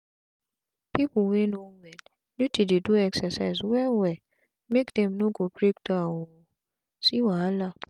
pipu wey no well need to dey do exercise well well make dem no go break down o see wahala